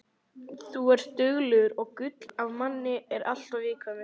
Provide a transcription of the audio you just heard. Þú ert duglegur og gull af manni en alltof viðkvæmur.